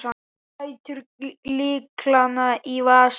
Lætur lyklana í vasann.